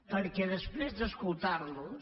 perquè després d’escoltar los